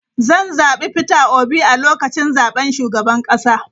Zan zabi Peter Obi a lokacin zaben shugaban kasa.